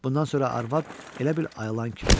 Bundan sonra arvad elə bil ayılan kimi olurdu.